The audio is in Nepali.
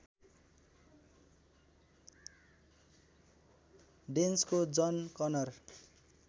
डेन्सको जन कनर